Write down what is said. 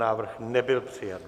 Návrh nebyl přijat.